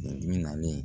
Dibi naani